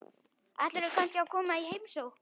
Ætlarðu kannski að koma í heimsókn?